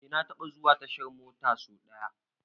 Eh na taba zuwa tashar mota ko.